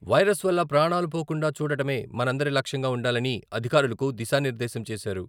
Virus వల్ల ప్రాణాలు పోకుండా చూడటమే మనందరి లక్ష్యంగా ఉండాలని అధికారులకు దిశానిర్దేశం చేశారు.